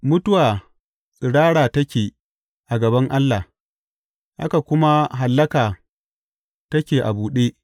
Mutuwa tsirara take a gaban Allah; haka kuma hallaka take a buɗe.